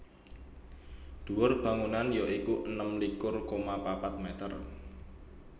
Dhuwur bangunan ya iku enem likur koma papat mèter